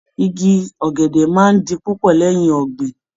Igi ọ̀gẹ̀dẹ̀ máa di púpọ̀ lẹ́yìn ọ̀gbìn